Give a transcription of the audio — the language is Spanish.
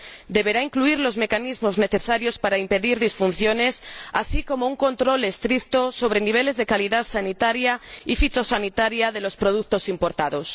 Deberá incluir los mecanismos necesarios para impedir disfunciones, así como un control estricto de los niveles de calidad sanitaria y fitosanitaria de los productos importados.